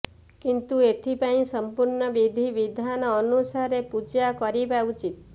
କିନ୍ତୁ ଏଥିପାଇଁ ସମ୍ପୂର୍ଣ୍ଣ ବିଧି ବିଧାନ ଅନୁସାରେ ପୂଜା କରିବା ଉଚିତ୍